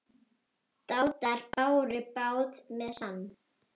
Dátar báru bát með sann.